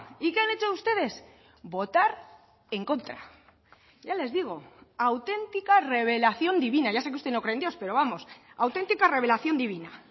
y qué han hecho ustedes votar en contra ya les digo auténtica revelación divina ya sé que usted no cree en dios pero vamos auténtica revelación divina